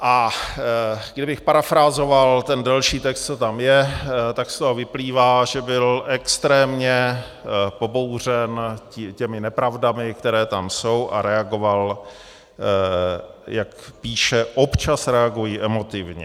A kdybych parafrázoval ten další text, co tam je, tak z toho vyplývá, že byl extrémně pobouřen těmi nepravdami, které tam jsou, a reagoval, jak píše - občas reaguji emotivně.